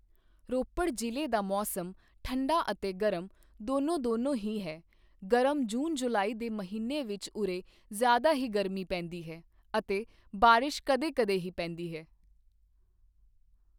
ਰੋਪੜ ਜ਼ਿਲ੍ਹੇ ਦਾ ਮੌਸਮ ਠੰਢਾ ਅਤੇ ਗਰਮ ਦੋਨੋਂ ਦੋਨੋਂ ਹੀ ਹੈ ਗਰਮ ਜੂਨ ਜੁਲਾਈ ਦੇ ਮਹੀਨੇ ਵਿੱਚ ਉਰੇ ਜ਼ਿਆਦਾ ਹੀ ਗਰਮੀ ਪੈਂਦੀ ਹੈ ਅਤੇ ਬਾਰਿਸ਼ ਕਦੇ ਕਦੇ ਹੀ ਪੈਂਦੀ ਹੈ।